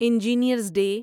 engineers day